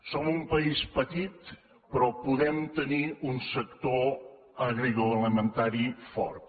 som un país petit però podem tenir un sector agroalimentari fort